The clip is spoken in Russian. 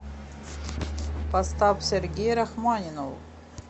поставь сергей рахманинов